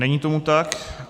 Není tomu tak.